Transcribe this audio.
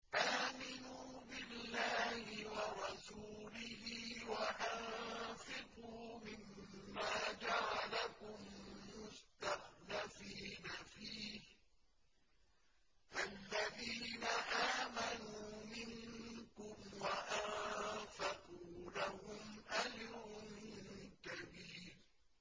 آمِنُوا بِاللَّهِ وَرَسُولِهِ وَأَنفِقُوا مِمَّا جَعَلَكُم مُّسْتَخْلَفِينَ فِيهِ ۖ فَالَّذِينَ آمَنُوا مِنكُمْ وَأَنفَقُوا لَهُمْ أَجْرٌ كَبِيرٌ